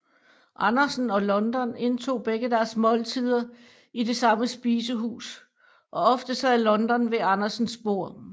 Andersen og London indtog begge deres måltider i det samme spisehus og ofte sad London ved Andersens bord